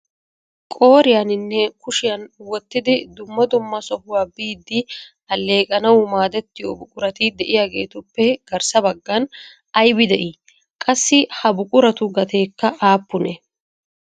Qooriyaninne kushiyan wottidi dumma dumma sohuwa biidi alleeqetanaw maaddetiyo buqurati de'iyaagetuppe garssa baggan aybbi de'ii? Qassi ha buquratu gateekka aappune?